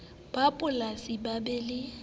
ba polasi ba be le